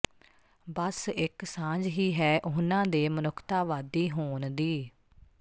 ਬੱਸ ਇੱਕ ਸਾਂਝ ਹੀ ਹੈ ਉਹਨਾਂ ਦੇ ਮਨੁੱਖਤਾਵਾਦੀ ਹੋਣ ਦੀ